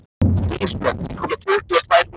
Ísbjörn, ég kom með tuttugu og tvær húfur!